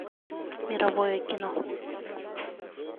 мировое кино